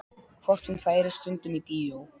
Hvort hún færi stundum í bíó.